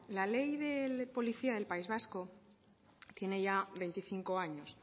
la ley de policía del país vasco tiene ya veinticinco años